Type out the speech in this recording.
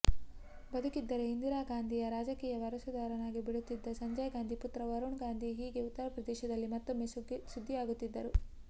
ಬದುಕಿದ್ದರೆ ಇಂದಿರಾ ಗಾಂಧಿಯ ರಾಜಕೀಯ ವಾರಸುದಾರನಾಗಿಬಿಡುತ್ತಿದ್ದ ಸಂಜಯ್ ಗಾಂಧಿ ಪುತ್ರ ವರುಣ್ ಗಾಂಧಿ ಹೀಗೆ ಉತ್ತರಪ್ರದೇಶದಲ್ಲಿ ಮತ್ತೊಮ್ಮೆ ಸುದ್ದಿಯಾಗುತ್ತಿದ್ದಾರೆ